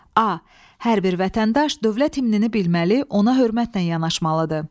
A. Hər bir vətəndaş dövlət himnini bilməli, ona hörmətlə yanaşmalıdır.